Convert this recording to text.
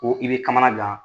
Ko i bɛ kamanagan.